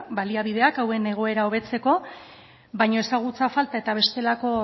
baliabideak hauen egoera hobetzeko baino ezagutza falta eta bestelako